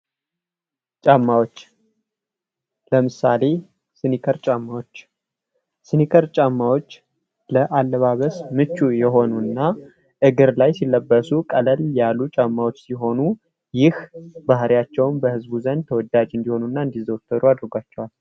ጫማዎች ለምሳሌ ስኒከር ጫማዎች። ስኒከር ጫማዎች ለአባበስ ምቹ የሆኑ እና እግር ላይ ሲለበሱ ቀለል ያሉ ጫማዎች ሲሆኑ ይህ ባህሪያቸውም በህዝቡ ዘንድ ተወዳጅ እንዲሆኑ እና እንዲዘወተሩ አድርጓቸዋል።